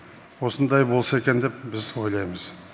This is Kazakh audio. осындай болса екен деп біз ойлаймыз